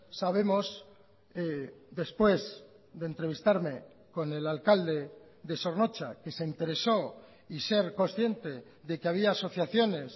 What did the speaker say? sabemos después de entrevistarme con el alcalde de zornotza que se interesó y ser consciente de que había asociaciones